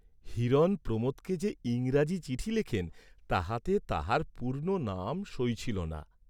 হিরণ প্রমোদকে যে ইংরাজি চিঠি লেখেন তাহাতে তাঁহার পূর্ণ নাম সই ছিল না।